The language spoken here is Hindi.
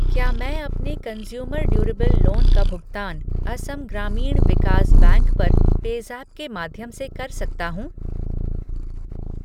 क्या मैं अपने कंज़्यूमर ड्यूरेबल लोन का भुगतान असम ग्रामीण विकास बैंक पर पेज़ैप के माध्यम से कर सकता हूँ?